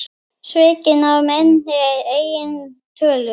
Svikinn af minni eigin tölu.